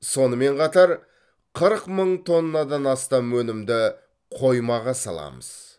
сонымен қатар қырық мың тоннадан астам өнімді қоймаға саламыз